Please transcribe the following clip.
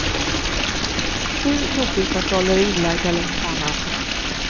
Sju dopingkontroller är inlagda längs banan.